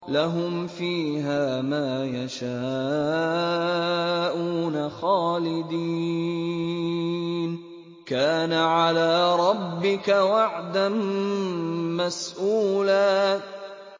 لَّهُمْ فِيهَا مَا يَشَاءُونَ خَالِدِينَ ۚ كَانَ عَلَىٰ رَبِّكَ وَعْدًا مَّسْئُولًا